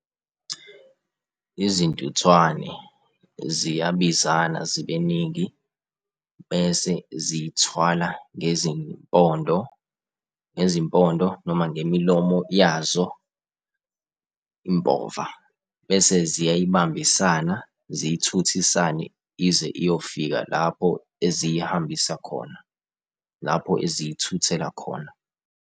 Izintuthwane ziyabizana zibe ningi, bese zithwala ngezimpondo, ngezimpondo noma ngemilomo yazo impova. Bese ziyayibambisana, ziyithuthisane ize iyofika lapho eziyihambisa khona, lapho eziyithuthela khona.